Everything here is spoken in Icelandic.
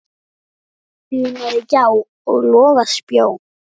dunaði gjá og loga spjó.